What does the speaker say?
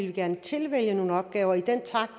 vi gerne tilvælge nogle opgaver i den takt